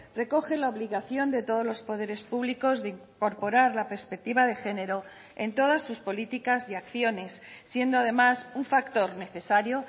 recoge la obligación de todos los poderes públicos de incorporar la perspectiva de género en todas sus políticas y acciones siendo además un factor necesario